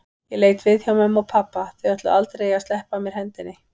Ég leit við hjá mömmu og pabba, þau ætluðu aldrei að sleppa af mér hendinni.